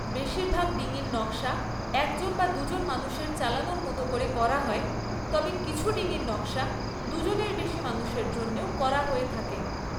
বেশিরভাগ ডিঙির নকশা একজন বা দুজন মানুষের চালানোর মতো করে করা হয়, তবে কিছু ডিঙির নকশা দুজনের বেশী মানুষের জন্যও করা হয়ে থাকে।